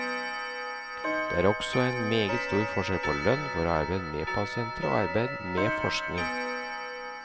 Det er også en meget stor forskjell på lønn for arbeid med pasienter og arbeid med forskning.